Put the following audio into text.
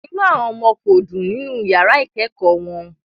Inú àwọn ọmọ kò dùn nínú yàrá ìkẹ́kọ̀ọ́ wọn